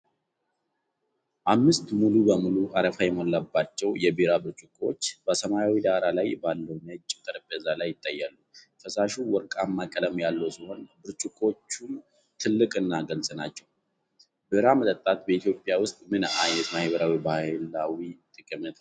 አምስት ሙሉ በሙሉ አረፋ የሞላባቸው የቢራ ብርጭቆዎች (beer mugs) በሰማያዊ ዳራ ላይ ባለው ነጭ ጠረጴዛ ላይ ይታያሉ። ፈሳሹ ወርቃማ ቀለም ያለው ሲሆን፣ ብርጭቆዎቹም ትልቅና ግልጽ ናቸው። ቢራ መጠጣት በኢትዮጵያ ውስጥ ምን ዓይነት ማህበራዊና ባህላዊ ጠቀሜታ አለው?